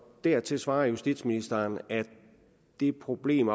dertil svarer justitsministeren at det problem